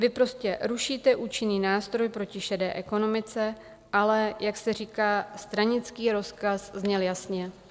Vy prostě rušíte účinný nástroj proti šedé ekonomice, ale jak se říká, stranický rozkaz zněl jasně.